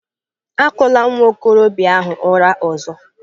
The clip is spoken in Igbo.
Akụla nwa okorobịa ahụ ụra ọzọ!